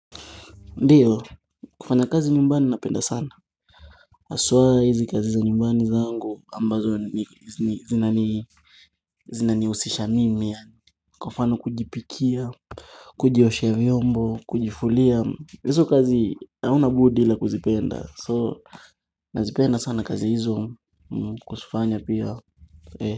Ndiyo kufanya kazi nyumbani napenda sana haswa hizi kazi za nyumbani zangu ambazo zinanii zina nihusisha mimi yani kwa mfano kujipikia kujioshea vyombo kujifulia hizo kazi hauna budi ila kuzipenda so nazipenda sana kazi hizo kusufanya pia e kwa hivyo.